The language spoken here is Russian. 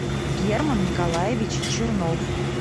герман николаевич чернов